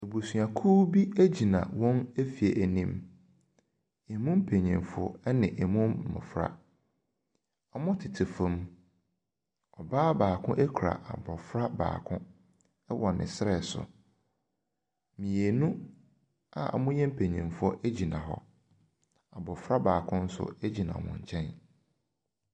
Abusuakuo bi egyina wɔn fie ɛnim. Emu mpanyinfoɔ ɛne emu mmɔfra. ɔtete fam. Ɔbaa baako kura abɔfra baako ɛwɔ ne serɛ so. Mmienu a wɔyɛ mpanyinfoɔ egyina hɔ. Abɔfra baako nso egyina wɔn nkyɛn.